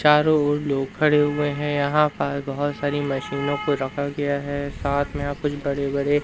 चारों ओर लोग खड़े हुए हैं। यहां पर बहोत सारी मशीनों को रखा गया है। साथ में यहाँ कुछ बड़े बड़े--